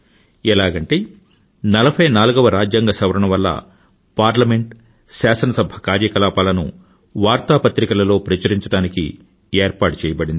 ఎలాగంటే 44వ రాజ్యాంగ సవరణ వల్ల పార్లమెంట్ శాసనసభ కార్యకలాపాలను వార్తాపత్రికలలో ప్రచురించడానికి ఏర్పాటు చెయ్యబడింది